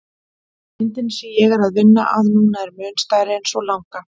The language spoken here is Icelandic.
Myndin sem ég er að vinna að núna er mun stærri en sú langa.